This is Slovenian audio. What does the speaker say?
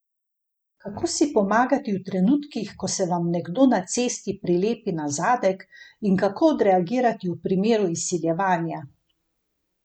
Kako si pomagati v trenutkih, ko se vam nekdo na cesti prilepi na zadek in kako odreagirati v primeru izsiljevanja?